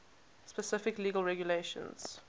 specific legal regulations